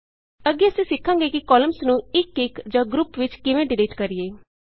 ਅੱਗੇ ਅਸੀਂ ਸਿੱਖਾਂਗੇ ਕਿ ਕਾਲਮਸ ਨੂੰ ਇੱਕ ਇੱਕ ਜਾਂ ਗਰੁਪ ਵਿਚ ਕਿਵੇਂ ਡਿਲੀਟ ਕਰੀਏ